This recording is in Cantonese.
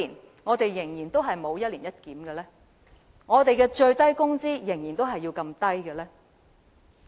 為何我們仍然沒有一年一檢，為何我們的最低工資仍然這麼低？